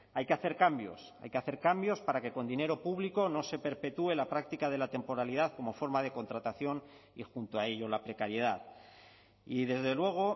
hay que hacer cambios hay que hacer cambios para que con dinero público no se perpetúe la práctica de la temporalidad como forma de contratación y junto a ello la precariedad y desde luego